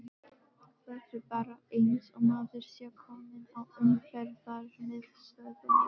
Það er bara eins og maður sé kominn á Umferðarmiðstöðina!